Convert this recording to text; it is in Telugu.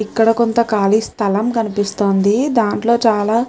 ఇక్కడ కొంత కాళి స్థలం కనిపిస్తోంది దాంట్లో చాలా --